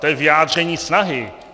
To je vyjádření snahy.